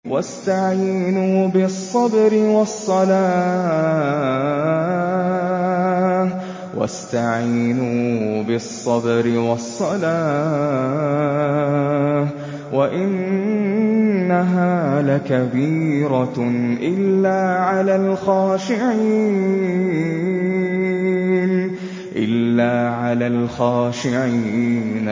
وَاسْتَعِينُوا بِالصَّبْرِ وَالصَّلَاةِ ۚ وَإِنَّهَا لَكَبِيرَةٌ إِلَّا عَلَى الْخَاشِعِينَ